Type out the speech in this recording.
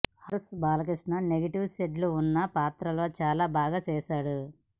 Adarsh Balakrishna negative shades ఉన్న పాత్రలో చాలా బాగా చేసాడు